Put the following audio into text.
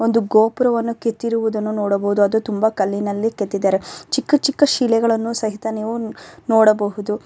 ಒಂದು ಗೋಪುರವನ್ನು ಕೆತ್ತಿರುವುದನ್ನು ನೋಡಬಹುದು ಅದು ತುಂಬಾ ಕಲ್ಲಿನಲ್ಲಿ ಕೆತ್ತಿದ್ದಾರೆ ಚಿಕ್ಕ ಚಿಕ್ಕ ಶಿಲೆಗಳನ್ನು ಸಹಿತ ನಿವು ನೊಡಬಹುದು.